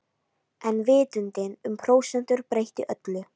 En vitundin um prósentur breytti öllu.